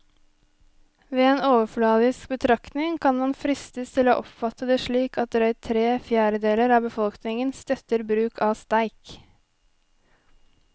Ved en overfladisk betraktning kan man fristes til å oppfatte det slik at drøyt tre fjerdedeler av befolkningen støtter bruk av streik.